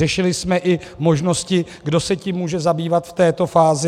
Řešili jsme i možnosti, kdo se tím může zabývat v této fázi.